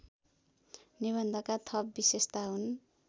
निबन्धका थप विशेषता हुन्